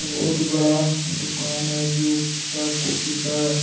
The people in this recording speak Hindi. बहुत बड़ा दुकान है जो किताब कॉपी का है ।